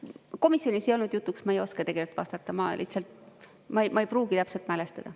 Komisjonis ei olnud jutuks, ma ei oska tegelikult vastata, ma lihtsalt ei pruugi täpselt mäletada.